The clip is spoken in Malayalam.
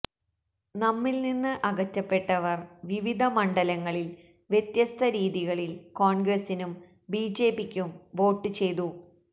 നമ്മിൽനിന്ന് അകറ്റപ്പെട്ടവർ വിവിധ മണ്ഡലങ്ങളിൽ വ്യത്യസ്ത രീതികളിൽ കോൺഗ്രസിനും ബിജെപിക്കും വോട്ട് ചെയ്തു